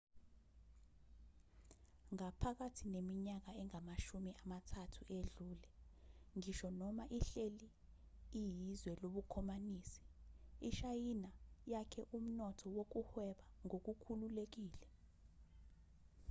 phakathi neminyaka engamashumi amathathu edlule ngisho noma ihleli iyizwe lobukhomanisi ishayina yakhe umnotho wokuhweba ngokukhululekile